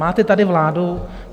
Máte tady vládu?